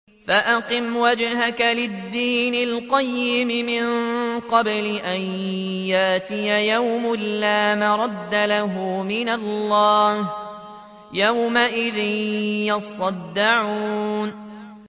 فَأَقِمْ وَجْهَكَ لِلدِّينِ الْقَيِّمِ مِن قَبْلِ أَن يَأْتِيَ يَوْمٌ لَّا مَرَدَّ لَهُ مِنَ اللَّهِ ۖ يَوْمَئِذٍ يَصَّدَّعُونَ